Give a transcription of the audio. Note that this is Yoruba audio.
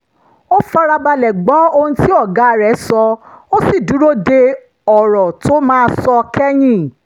ó fara balẹ̀ gbọ́ ohun tí ọ̀gá rẹ̀ sọ ó sì dúró de ọ̀rọ̀ tó máa sọ kẹ́yìn